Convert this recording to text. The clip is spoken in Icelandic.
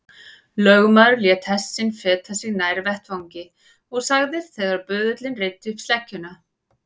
Lögmaður lét hest sinn feta sig nær vettvangi og sagði þegar böðullinn reiddi upp sleggjuna